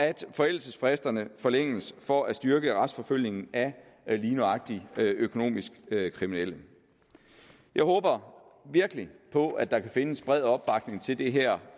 at forældelsesfristerne forlænges for at styrke retsforfølgningen af lige nøjagtig økonomisk kriminelle jeg håber virkelig på at der kan findes bred opbakning til det her